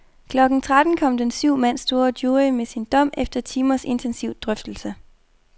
Klokken tretten kom den syv mand store jury med sin dom efter timers intensiv drøftelse.